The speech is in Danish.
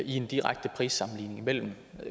en direkte prissammenligning mellem